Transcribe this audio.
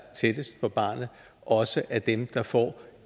tættest på barnet også er dem der får